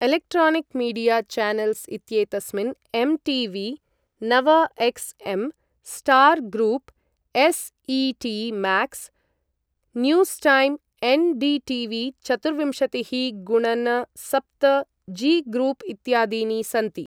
Electronic media channels इत्येतस्मिन् MTV., नवएक्स्.एम्., star group, SET Max, news time, NDTV. चतुर्विंशतिः गुणन सप्त, जी ग्रूप् इत्यादीनि सन्ति।